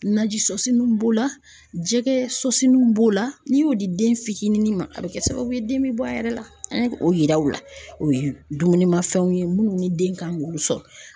Naji soso nun b'o la jɛgɛ sosiw b'o la n'i y'o di den fitinin ma a bɛ kɛ sababu ye den bɛ bɔ a yɛrɛ la an ye o yira u la o ye dumunimafɛnw ye minnu ni den kan k'olu sɔrɔ.